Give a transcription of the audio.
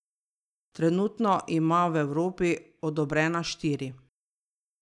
Trenutno ima v Evropi odobrena štiri.